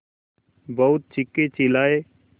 बहुत चीखेचिल्लाये